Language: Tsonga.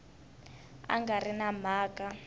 a nga ri na mhaka